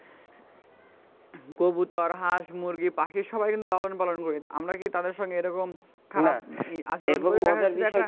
কবুতর হাঁস মুরগি বাকি সবাই কিন্তু লালন পালন করি. আমরা কি তাদের সঙ্গে এরকম খারাপ আচরণ